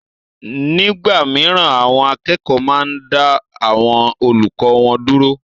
Nígbà mìíràn àwọn akẹ́kọ̀ọ́ máa ń dá àwọn olùkọ́ wọn dúró